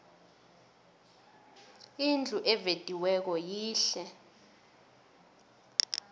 indlu evediweko yihle